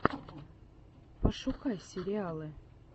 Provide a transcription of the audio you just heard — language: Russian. пошукай сериалы